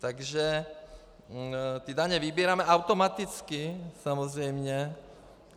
Takže ty daně vybíráme automaticky, samozřejmě.